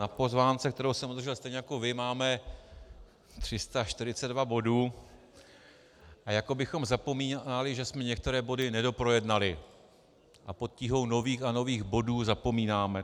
Na pozvánce, kterou jsem obdržel stejně jako vy, máme 342 bodů a jako bychom zapomínali, že jsme některé body nedoprojednali a pod tíhou nových a nových bodů zapomínáme.